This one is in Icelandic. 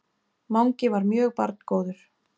Mangi var mjög barngóður.